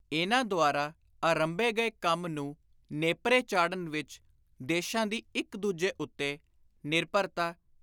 ਇਨ੍ਹਾਂ ਦੁਆਰਾ ਆਰੰਭੇ ਗਏ ਕੰਮ ਨੂੰ ਨੇਪਰੇ ਚਾੜ੍ਹਨ ਵਿਚ ਦੇਸ਼ਾਂ ਦੀ ਇਕ ਦੂਜੇ ਉੱਤੇ ‘ਨਿਰਭਰਤਾ’